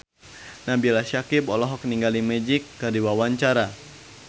Nabila Syakieb olohok ningali Magic keur diwawancara